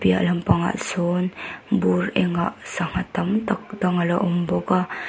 lehlampangah sawn bur engah sangha tam tak dang ala awm bawk a.